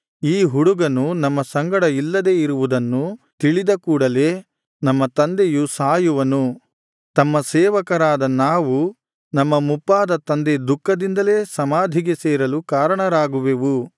ಈ ಹುಡುಗನು ನಮ್ಮ ಸಂಗಡ ಇಲ್ಲದೆ ಇರುವುದನ್ನು ತಿಳಿದ ಕೂಡಲೇ ನಮ್ಮ ತಂದೆಯು ಸಾಯುವನು ತಮ್ಮ ಸೇವಕರಾದ ನಾವು ನಮ್ಮ ಮುಪ್ಪಾದ ತಂದೆ ದುಃಖದಿಂದಲೇ ಸಮಾಧಿಗೆ ಸೇರಲು ಕಾರಣರಾಗುವೆವು